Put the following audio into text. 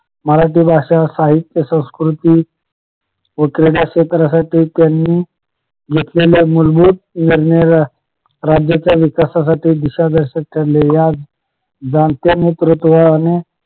मराठी भाषा साहित्य संस्कृती व क्रीडा क्षेत्रासाठी त्यांनी घेतलेल्या मूलभूत निर्णय राज्याच्या विकासाठी दिशादर्शक ठरलेल्या जाणत्या नेतृत्वाने